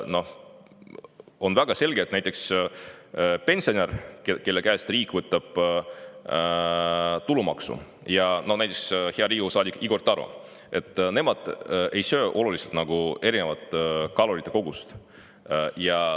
Noh, on väga selge, et näiteks pensionär, kelle käest riik võtab tulumaksu, ja hea Riigikogu saadik Igor Taro ei oluliselt erinevat kalorikogust.